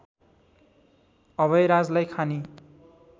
अभयराजलाई खानी